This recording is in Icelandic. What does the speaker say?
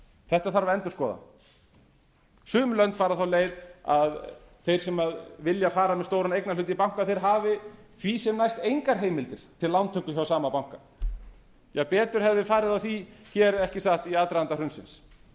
þetta þarf að endurskoða sum lönd fara þá leið að þeir sem vilja fara með stóran eignarhlut í banka hafi því sem næst engar heimildir til lántöku hjá sama banka betur hefði farið á því í aðdraganda hrunsins en